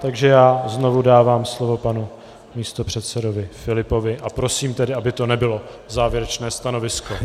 Takže já znovu dávám slovo panu místopředsedovi Filipovi a prosím tedy, aby to nebylo závěrečné stanovisko.